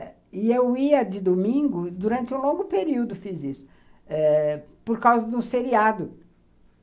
E eu ia de domingo, durante um longo período fiz isso eh, por causa do seriado.